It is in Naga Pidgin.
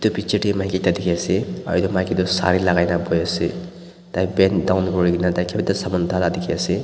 edu picture tae maki ekta dikhiase aro edu maki toh sare lakai naboiase tai bend down kurilae na taikipa ekta saman uthai la dikhiase.